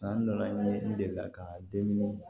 San nana ni n delila ka dumuni